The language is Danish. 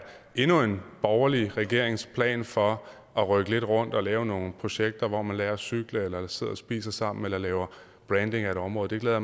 endnu en borgerlig regerings plan for at rykke lidt rundt og lave nogle projekter hvor man lærer at cykle eller sidder og spiser sammen eller laver branding af et område det glæder